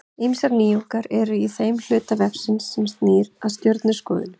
Ýmsar nýjungar eru líka í þeim hluta vefsins sem snýr að stjörnuskoðun.